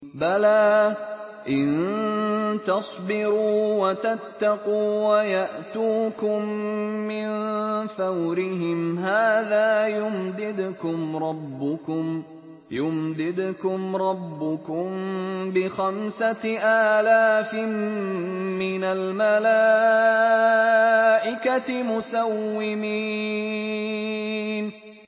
بَلَىٰ ۚ إِن تَصْبِرُوا وَتَتَّقُوا وَيَأْتُوكُم مِّن فَوْرِهِمْ هَٰذَا يُمْدِدْكُمْ رَبُّكُم بِخَمْسَةِ آلَافٍ مِّنَ الْمَلَائِكَةِ مُسَوِّمِينَ